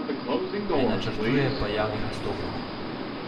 Ne načrtuje pa javnih nastopov.